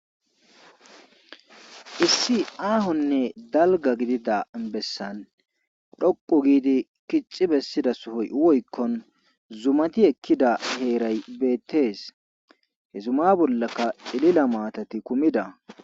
issi aahonne dalga gidida bessan dhoqu giidi kixxi bessida sohoy oykkon zumati ekkida heeray beettees he zuma bollaka celila maatati kumida